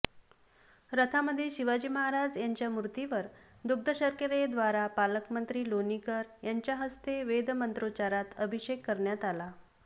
रथामध्ये शिवाजी महाराज यांच्या मूर्तीवर दुग्धशर्करेद्वारा पालकमंत्री लोणीकर यांच्या हस्ते वेदमंत्रोच्चरात अभिषेक करण्यात आला